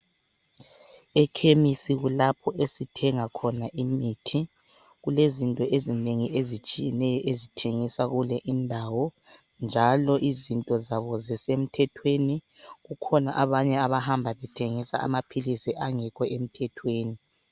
Ekhemisi kulapho esithenga khona imithi kulezinto ezinengi ezitshiyeneyo ezithengiswa kule indawo njalo izinto zabo zisemthethweni kukhona abanye abahamba bethengisa amaphilisi angekho emthethweni.